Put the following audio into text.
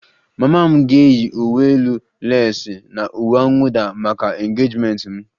Mama m ga-eyi uwe elu leesi na uwe mwụda maka engejimenti m